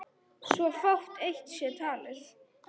svo fátt eitt sé talið.